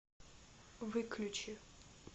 выключи